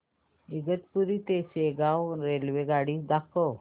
इगतपुरी ते शेगाव रेल्वेगाडी दाखव